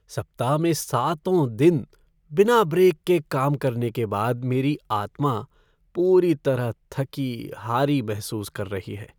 सप्ताह में सातों दिन बिना ब्रेक के काम करने के बाद मेरी आत्मा पूरी तरह थकी हारी महसूस कर रही है।